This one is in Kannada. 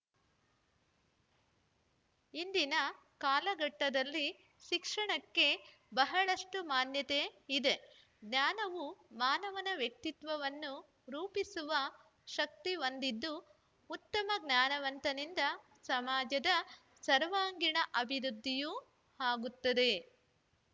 ಇಂದಿನ ಕಾಲಘಟ್ಟದಲ್ಲಿ ಶಿಕ್ಷಣಕ್ಕೆ ಬಹಳಷ್ಟುಮಾನ್ಯತೆ ಇದೆ ಜ್ಞಾನವು ಮಾನವನ ವ್ಯಕ್ತಿತ್ವವನ್ನು ರೂಪಿಸುವ ಶಕ್ತಿ ಹೊಂದಿದ್ದು ಉತ್ತಮ ಜ್ಞಾನವಂತನಿಂದ ಸಮಾಜದ ಸಾರ್ವಾಂಗೀಣ ಅಭಿವೃದ್ಧಿಯೂ ಆಗುತ್ತದೆ